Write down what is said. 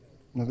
Nə bilim.